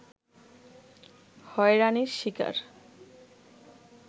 হয়রানির শিকার